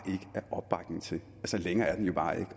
opbakning til længere er den jo bare ikke